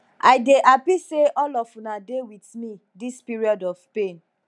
i dey happy say all of una dey with me dis period of pain